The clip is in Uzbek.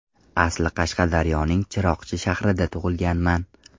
Asli Qashqadaryoning Chiroqchi shahrida tug‘ilganman.